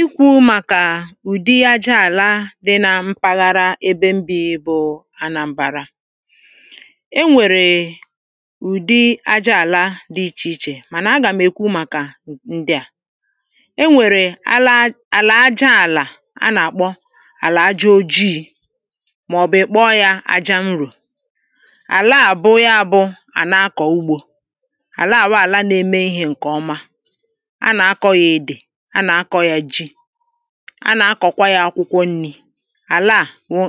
Ị̀kwú màkà ụdị àjá àlà di na mpárághà ēbē mbi bụ Anambara enwērēē ụdị àjá àlà di ịchē ịchē mana àgám ekwu màkà ṅdi a Eṅwērē álá àlà àjá anakpọ Àlà àjá ojịị Ma ọbụ ịkpọ ya àjá ṅrōō Áláá bụ ya bụ áná kọ́ ụ̀gbō Àlá wụ àlà nēmē ihē ṅkē ọma Ánákọ̀ ya édè, ánákọ̀ ya jị Anakọkwa ya akwụkwọ ṅ́lì Àláá wụ́